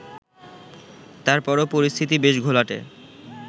তারপরও পরিস্থিতি বেশ ঘোলাটে